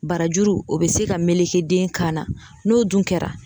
Barajuru o bɛ se ka meleke den kan na n'o dun kɛra